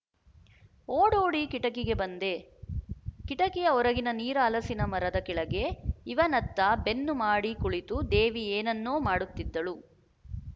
ಓಡೋಡಿ ಕಿಟಕಿಗೆ ಬಂದೆ ಕಿಟಕಿಯ ಹೊರಗಿನ ನೀರ ಹಲಸಿನ ಮರದ ಕೆಳಗೆ ಇವನತ್ತ ಬೆನ್ನು ಮಾಡಿ ಕುಳಿತು ದೇವಿ ಏನನ್ನೋ ಮಾಡುತ್ತಿದ್ದಳು